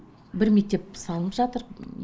бір мектеп салынып жатыр